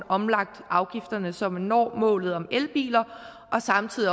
omlagt afgifterne så man når målet om elbiler og samtidig